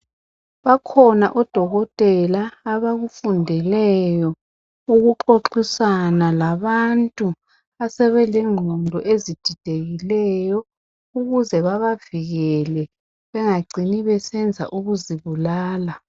Bakhona odokotela abakufundeleyo ukuxoxisana labantu asebelengqondo ezididekileyo ukuze bebavikele ukuze bangacini besenza ukuzibulala.